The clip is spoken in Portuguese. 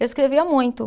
Eu escrevia muito.